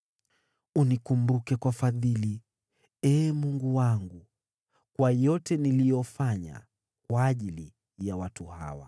Unikumbuke kwa fadhili, Ee Mungu wangu, kwa yote niliyofanya kwa ajili ya watu hawa.